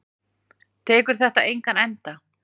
Tekur þetta engan enda?